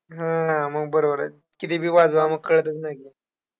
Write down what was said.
हां, मग बरोबर आहे की, किती बी वाजवा मग कळतंच नाई की